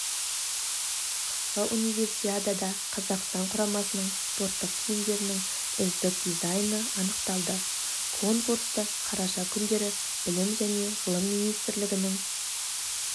қысқы универсиадада қазақстан құрамасының спорттық киімдерінің үздік дизайны анықталды конкурсты қараша күндері білім және ғылым министрлігінің